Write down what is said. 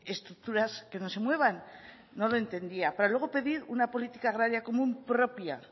estructuras que no se muevan no lo entendía para luego pedir una política agraria común propia